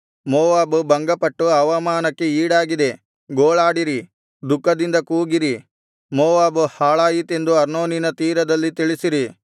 Moab ಭಂಗಪಟ್ಟು ಅವಮಾನಕ್ಕೆ ಈಡಾಗಿದೆ ಗೋಳಾಡಿರಿ ದುಃಖದಿಂದ ಕೂಗಿರಿ ಮೋವಾಬು ಹಾಳಾಯಿತೆಂದು ಅರ್ನೋನಿನ ತೀರದಲ್ಲಿ ತಿಳಿಸಿರಿ